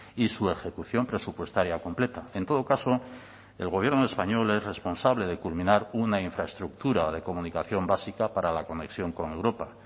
y su ejecución presupuestaria completa en todo caso el gobierno español es responsable de culminar una infraestructura de comunicación básica para la conexión con europa